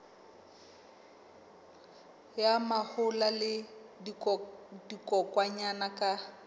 ya mahola le dikokwanyana ka